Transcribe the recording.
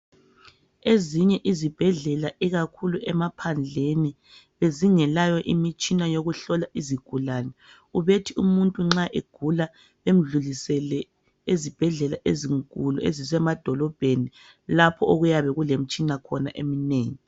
Ezinye izibhedlela (ikakhulu emaphandleni), bezingelayo imitshina yokuhlola izigulane. Ubethi umuntu nxa egula, bemdlulisele ezibhedlela ezinkulu ezisemadolobheni, lapho okuyabe kulemitshina khona eminengi.